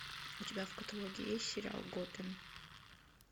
у тебя в каталоге есть сериал готэм